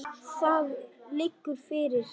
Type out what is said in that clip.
Það liggur fyrir.